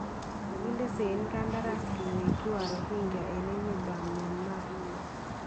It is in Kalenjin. Kakinde seein kandaras keweekyi Warohingya en emetab Myanmar